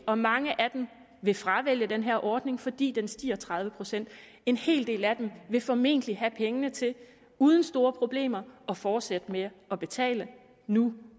om mange af dem vil fravælge den her ordning fordi den stiger tredive procent en hel del af dem vil formentlig have pengene til uden store problemer at fortsætte med at betale nu